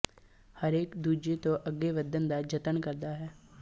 ਹਰੇਕ ਦੂਜੇ ਤੋਂ ਅੱਗੇ ਵੱਧਣ ਦਾ ਜਤਨ ਕਰਦਾ ਹੈ